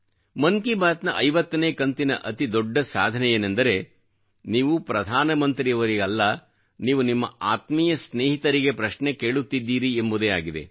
ಮನ್ ಕಿ ಬಾತ್ ನ 50 ನೇ ಕಂತಿನ ಅತಿ ದೊಡ್ಡ ಸಾಧನೆಯೇನೆಂದರೆ ನೀವು ಪ್ರಧಾನ ಮಂತ್ರಿಯವರಿಗಲ್ಲ ನೀವು ನಿಮ್ಮ ಆತ್ಮೀಯ ಸ್ನೇಹಿತರಿಗೆ ಪ್ರಶ್ನೆ ಕೇಳುತ್ತಿದ್ದೀರಿ ಎಂಬುದೇ ಆಗಿದೆ